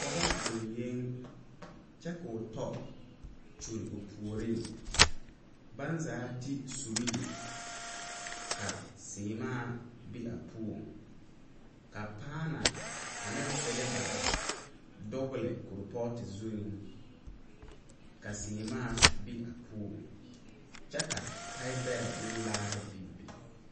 Pɔge zeŋyeŋ kyɛ ka o tɔ zeŋ o puoriŋ baŋ zaa ti surihi ka seemaa be a puoŋ ka paani ane selbare dogle korepooto zuŋ ka seemaa be a puoŋ kyɛ ka tahibɛrɛ ne laare biŋ.